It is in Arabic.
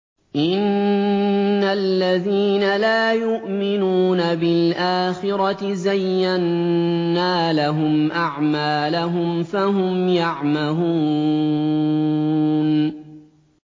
إِنَّ الَّذِينَ لَا يُؤْمِنُونَ بِالْآخِرَةِ زَيَّنَّا لَهُمْ أَعْمَالَهُمْ فَهُمْ يَعْمَهُونَ